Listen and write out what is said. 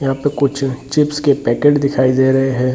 यहाँ पे कुछ चिप्स के पैकेट दिखाई दे रहें हैं।